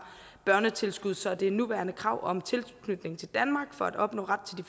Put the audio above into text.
børnetilskud så det nuværende krav om tilknytning til danmark for at opnå ret